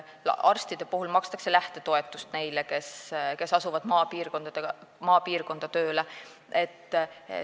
Arstidele, kes asuvad maapiirkonda tööle, makstakse lähtetoetust.